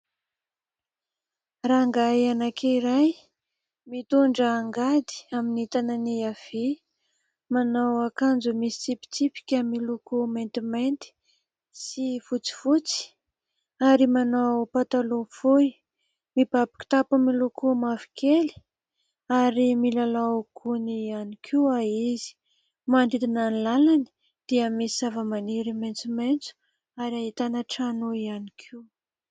Rangahy anankiray mitondra angady amin'ny tanany havia : manao akanjo misy tsipitsipika miloko maintimanty sy fotsifotsy ary manao pataloha fohy, mibaby kitapo miloko mavokely ary miloloha gony ihany koa izy manodidina ny lalany dia misy zavamaniry maitsomaitso ary ahitana trano ihany koa.